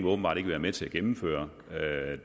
åbenbart ikke være med til at gennemføre